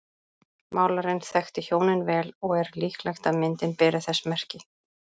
Málarinn þekkti hjónin vel og er líklegt að myndin beri þess merki.